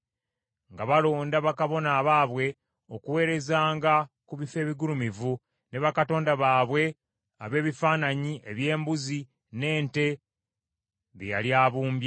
nga balonda bakabona abaabwe okuweerezanga ku bifo ebigulumivu, ne bakatonda baabwe ab’ebifaananyi eby’embuzi n’ente, bye yali abumbye.